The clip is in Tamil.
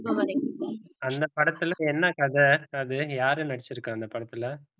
இப்பவரைக்கும் அந்த படத்துல என்ன கதை அது யாரு நடிச்சிருக்கா இந்த படத்துல